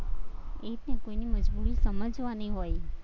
એ જ ને તેની મજબુરી સમજવાની હોય.